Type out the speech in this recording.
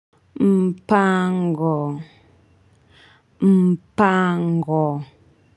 Mpango mpango.